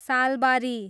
Salbari